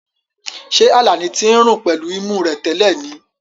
Ṣé Alani ti ń rùn pẹ̀lú imú rẹ̀ tẹ́lẹ̀ ni?